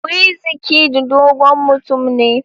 Wizkid dogo mutum ne.